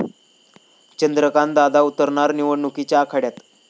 चंद्रकांत दादा उतरणार निवडणुकीच्या आखाड्यात?